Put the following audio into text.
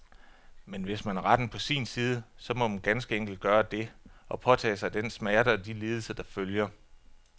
Men hvis man har retten på sin side, så må man ganske enkelt gøre det, og påtage sig den smerte og de lidelser, der følger.